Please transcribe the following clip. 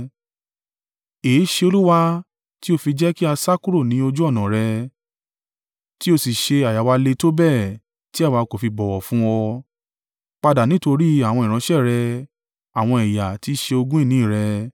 Èéṣe Olúwa tí o fi jẹ́ kí a ṣáko kúrò ní ojú ọ̀nà rẹ tí o sì ṣé àyà wa le tó bẹ́ẹ̀ tí àwa kò fi bọ̀wọ̀ fún ọ? Padà nítorí àwọn ìránṣẹ́ rẹ, àwọn ẹ̀yà tí ṣe ogún ìní rẹ.